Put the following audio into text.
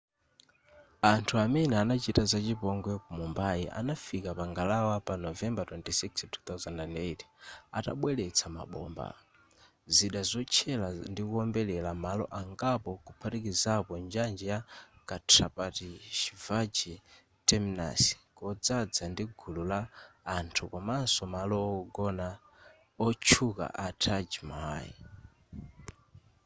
anthu amene anachita za chipongwe ku mumbai anafika pa ngalawa pa novembara 26 2008 atabweretsa mabomba zida zotchera ndikuombera malo angapo kuphatikiza njanji ya chhatrapati shivaji terminus kodzadza ndi gulu la anthu komanso malo wogona otchuka a taj mahal